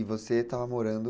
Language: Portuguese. E você estava morando...